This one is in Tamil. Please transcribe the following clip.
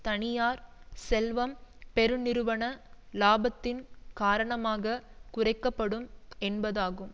தனியார் செல்வம் பெருநிறுவன இலாபத்தின் காரணமாக குறைக்க படும் என்பதாகும்